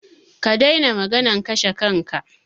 Ka daina maganan kashe kanka!